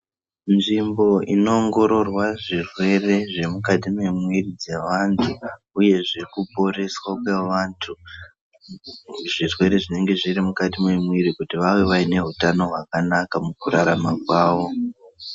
Nzvimbo inoongororwa zvirwere zvemukati memwiri dzevantu uyezve kuporeswa kwevantu zvirwere zvinenge zvirimukati memwiri kuti vave vaine hutano hwakanaka mukurarama kwavo.